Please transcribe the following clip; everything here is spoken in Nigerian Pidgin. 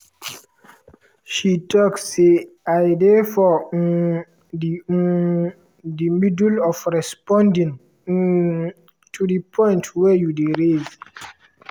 she tok say: “i dey for um di um di middle of responding um to di point wey you dey raise